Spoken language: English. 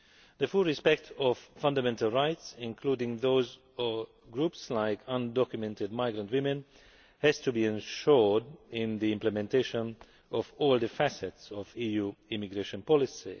The full respect of fundamental rights, including those of groups like undocumented migrant women, has to be ensured in the implementation of all facets of EU immigration policy.